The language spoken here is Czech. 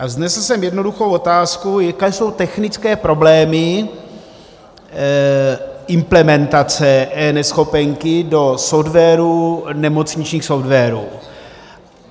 A vznesl jsem jednoduchou otázku: Jaké jsou technické problémy implementace eNeschopenky do nemocničních softwarů?